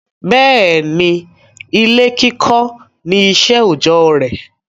Bẹ́ẹ̀ni, ó máà kọ́lé gẹ́gẹ́ bí iṣẹ́ òjọ́.